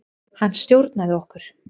Hann stjórnaði okkur.